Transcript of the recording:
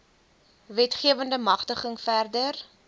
wetgewende magtiging verder